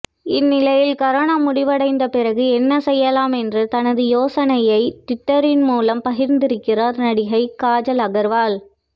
இந்நிலையில் கரோனா முடிவடைந்த பிறகு என்ன செய்யலாம் என்று தனது யோசனையை ட்விட்டரின் மூலம் பகிர்ந்திருக்கிறார் நடிகை காஜல் அகர்வால்